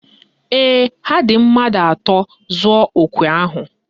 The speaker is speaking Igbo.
Ee, ha dị mmadụ atọ zụọ okwe ahụ